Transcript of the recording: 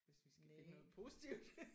Hvis vi skal finde noget positivt